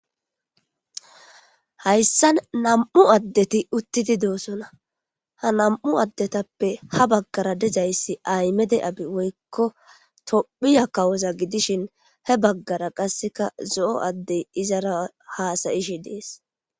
hayssan nam7u addeti uttidi doosona ha nam7u addetappe ha baggara dizayssi aymede abi woykko tophiya kawoza gidishin he baggara qasseka zo7o addey izara haasayishi dees